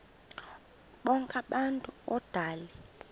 bonk abantu odale